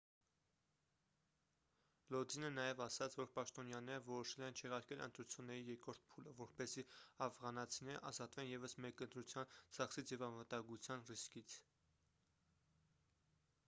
լոդինը նաև ասաց որ պաշտոնյաները որոշել են չեղարկել ընտրությունների երկրորդ փուլը որպեսզի աֆղանացիներն ազատվեն ևս մեկ ընտրության ծախսից և անվտանգության ռիսկից